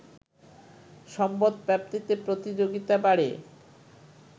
সম্পদ প্রাপ্তিতে প্রতিযোগিতা বাড়ে